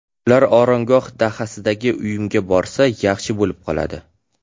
Ular Oromgoh dahasidagi uyimga borsa, yaxshi bo‘lib qoladi.